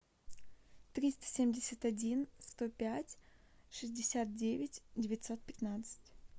триста семьдесят один сто пять шестьдесят девять девятьсот пятнадцать